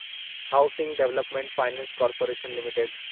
housing development finance corporation limited